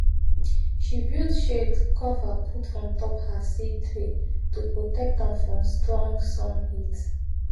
she build shade cover put on top her seed tray to protect am from strong sun heat